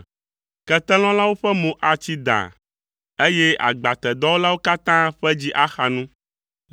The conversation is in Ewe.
Ketelɔlawo ƒe mo atsi daa eye agbatedɔwɔlawo katã ƒe dzi axa nu.